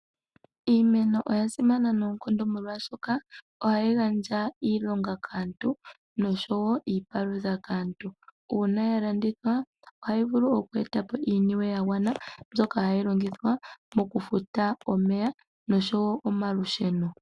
Iimeno oya simana noonkondo molwaashoka ohayi gandja iilonga kaantu noshowo iipalutha kaantu. Uuna ya landithwa ohayi vulu oku eta po iiniwe ya gwana mbyoka hayi longithwa moompumbwe dha yoolokathana.